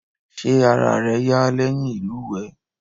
Ṣé ara rẹ yá lẹ́yìn ìlúwèé?